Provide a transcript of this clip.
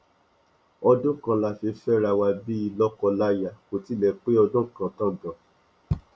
ọdún kan la fi fẹra wa bíi lóko láyà kó tilẹ pé ọdún kan tán gan